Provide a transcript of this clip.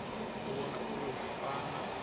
u vhona uri hu fana